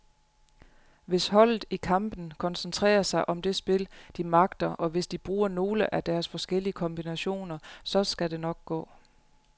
Hvis holdet i kampen koncentrerer sig om det spil, de magter, og hvis de bruger nogle af deres forskellige kombinationer, så skal det nok gå.